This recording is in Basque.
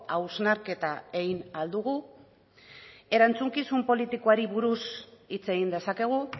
hausnarketa egin ahal dugu erantzukizun politikoari buruz hitz egin dezakegu